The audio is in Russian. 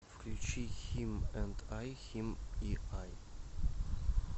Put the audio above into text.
включи хим энд ай хим и ай